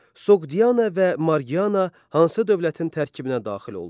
Soqdiana və Marqiana hansı dövlətin tərkibinə daxil oldu?